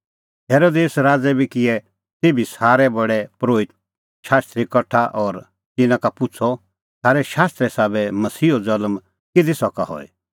हेरोदेस राज़ै बी किऐ तेभी सारै प्रधान परोहित शास्त्री कठा और तिन्नां का पुछ़अ थारै शास्त्रे साबै मसीहो ज़ल्म किधी सका हई